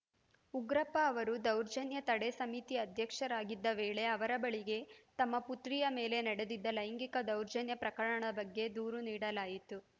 ಉಗ್ರಪ್ಪ ಅವರು ದೌರ್ಜನ್ಯ ತಡೆ ಸಮಿತಿ ಅಧ್ಯಕ್ಷರಾಗಿದ್ದ ವೇಳೆ ಅವರ ಬಳಿಗೆ ತಮ್ಮ ಪುತ್ರಿಯ ಮೇಲೆ ನಡೆದಿದ್ದ ಲೈಂಗಿಕ ದೌರ್ಜನ್ಯ ಪ್ರಕರಣದ ಬಗ್ಗೆ ದೂರು ನೀಡಲಾಗಿತ್ತು